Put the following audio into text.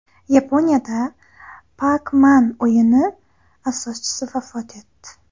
Yaponiyada Pac-Man o‘yini asoschisi vafot etdi.